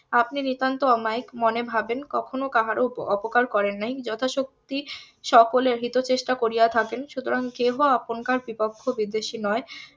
আপনি নিতান্ত অমায়িক মনে ভাবেন কখনো কাহারো অপকার করেন নাই যথাশক্তি সকলের হিতচেষ্টা করিয়া থাকেন সুতরাং কেহ আপনকার পক্ষ বিদ্বেষী নয়